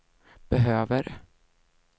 behöver